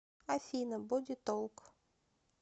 афина боди толк